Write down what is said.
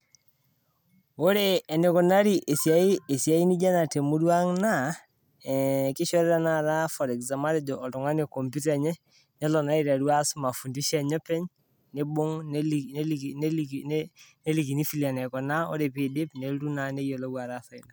Ore eneikunari esiai esiai nijo ena temuruang' naa, eh keishori tenakata for example matejo oltung'ani kompyuta enye nelo naa aiteru aas mafundisho enye openy neibung' neliki neliki neliki nelikini vile enaikuna ore peeidip nelotu naa neyiolou ataasa ina.